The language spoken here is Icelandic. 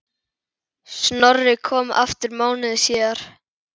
Snorri kom aftur mánuði síðar.